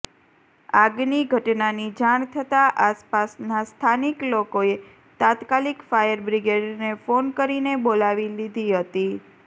આગની ઘટનાની જાણ થતાં આસપાસના સ્થાનિક લોકોએ તાત્કાલિક ફાયરબ્રિગેડને ફોન કરીને બોલાવી દીધી હતી